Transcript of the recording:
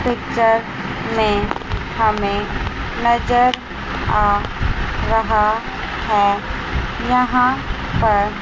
picture में हमें नजर आ रहा है यहां पर--